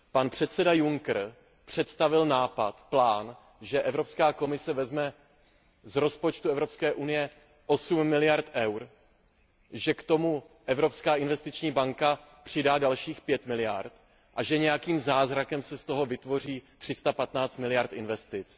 Pan předseda Juncker představil nápad, plán, že Evropská komise vezme z rozpočtu Evropské unie 8 miliard EUR, že k tomu Evropská investiční banka přidá dalších 5 miliard a že nějakým zázrakem se z toho vytvoří 315 miliard investic.